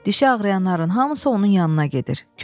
Dişi ağrıyanların hamısı onun yanına gedir.